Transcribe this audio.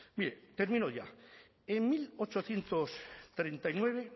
mire termino ya en mil ochocientos treinta y nueve